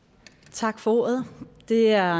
tak for ordet det er